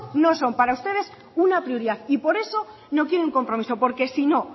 no son para ustedes una prioridad y por eso no quieren compromiso porque si no